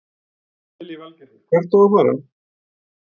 Lillý Valgerður: Hvert á að fara?